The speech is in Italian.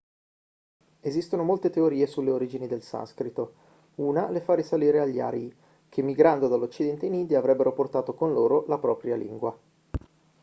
esistono molte teorie sulle origini del sanscrito una le fa risalire agli arii che migrando dall'occidente in india avrebbero portato con loro la propria lingua